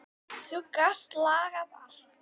Þú gast lagað allt.